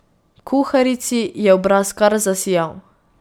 Kuharici je obraz kar zasijal.